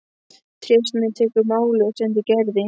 Trésmiður tekur málið og sendir Gerði.